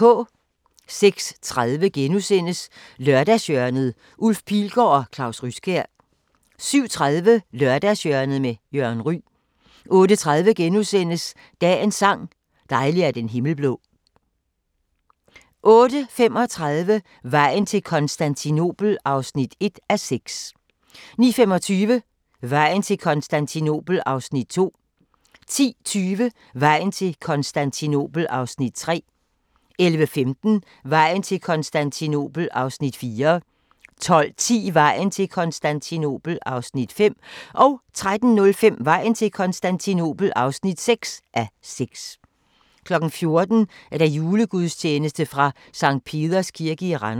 06:30: Lørdagshjørnet: Ulf Pilgaard og Claus Ryskjær * 07:30: Lørdagshjørnet med Jørgen Ryg 08:30: Dagens sang: Dejlig er den himmel blå * 08:35: Vejen til Konstantinopel (1:6) 09:25: Vejen til Konstantinopel (2:6) 10:20: Vejen til Konstantinopel (3:6) 11:15: Vejen til Konstantinopel (4:6) 12:10: Vejen til Konstantinopel (5:6) 13:05: Vejen til Konstantinopel (6:6) 14:00: Julegudstjeneste fra Sct. Peders Kirke i Randers